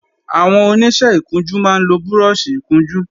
Àwọn Oníṣẹ́ ìkunjú máa ń lo búrọ́ọ̀ṣì ìkunjú